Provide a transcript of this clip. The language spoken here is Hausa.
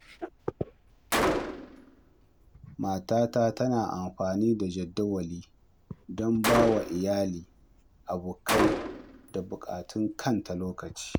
Matata tana amfani da jadawali don ba wa iyali, abokai, da bukatun kanta lokaci.